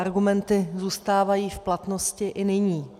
Argumenty zůstávají v platnosti i nyní.